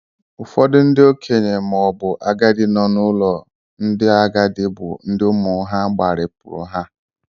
Ụfọdụ ndị okenye maọbu agadi nọ n'ụlo ndị agadi, bụ ndị ụmụ ha gbaripuru ha